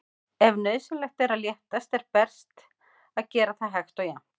Ef nauðsynlegt er að léttast er best að gera það hægt og jafnt.